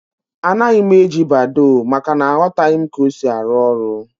Anaghị m eji Badoo, maka na aghotaghi m ka ọ sị arụ ọrụ